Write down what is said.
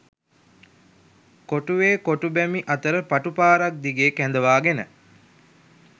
කොටුවේ කොටු බැමි අතර පටු පාරක් දිගේ කැඳවාගෙන